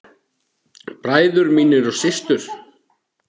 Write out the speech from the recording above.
Bræður mínir og systur.